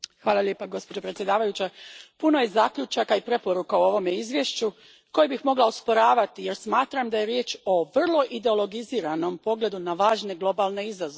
Gospođo predsjednice, puno je zaključaka i preporuka u ovome Izvješću koje bih mogla osporavati jer smatram da je riječ o vrlo ideologiziranom pogledu na važne globalne izazove.